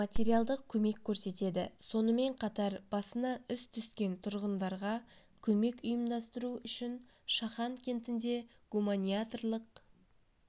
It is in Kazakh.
материалдық көмек көрсетеді сонымен қатар басына іс түскен тұрғындарға көмек ұйымдастыру үшін шахан кентінде гуманиатрлық